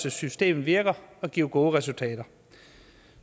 at systemet virker og giver gode resultater